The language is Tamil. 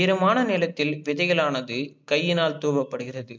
ஈரமான நிலத்தில் விதைகலானது கையினால் தூவப்படுகிறது.